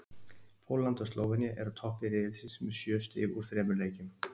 Pólland og Slóvenía eru á toppi riðilsins með sjö stig úr þremur leikjum.